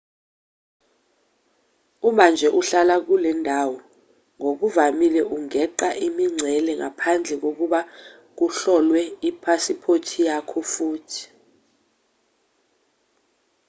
uma nje uhlala kulendawo ngokuvamile ungeqa imingcele ngaphandle kokuba kuhlolwe iphasiphothi yakho futhi